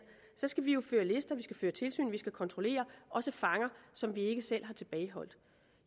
så skal vi jo føre lister vi skal føre tilsyn vi skal kontrollere også fanger som vi ikke selv har tilbageholdt